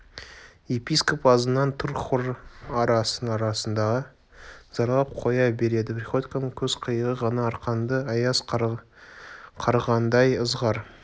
епископ азынап тұр хор ара-арасында зарлап қоя береді приходьконың көз қиығы ғана арқаңды аяз қарығандай ызғар